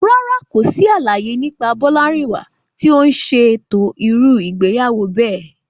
Rárá, kò sí àlàyé nípa Bolarinwa tí ó ń ṣètò irú ìgbéyàwó bẹ́ẹ̀.